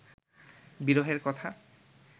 বিরহের কথা